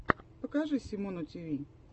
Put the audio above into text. покажи симону тиви